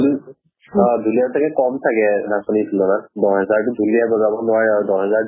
অ ঢুলীয়াৰ চাগে কম চাগে নাচনীৰ তুলনাত। দহ হেজাৰ টো ঢুলীয়াই বজাব নোৱাৰে আৰু